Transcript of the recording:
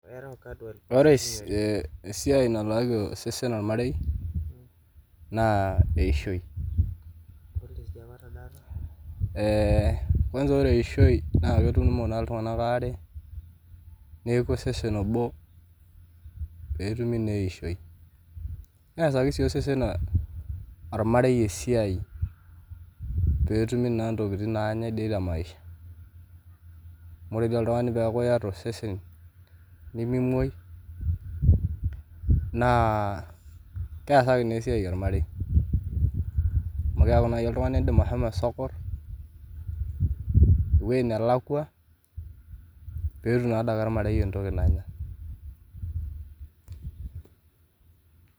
Ore esiaai naalki osesen ormarei naa eishoi, kwaansa ore ishoi naa ketumo naa ltunganaka aare neaku osesen obo peetumi naa eishoi, neasaki sii osesen ormarei esiai peetumi naa ntokitin dei naanyei te maisha, amu ore oshi oltungani peaku ieta osesen, nimimuoi naa keasaki sii esiai ormarei, amu keaku naii oltungani iindim ashomo sokor eweji nelakwa, peetum naa adake ormarei entoki nanya.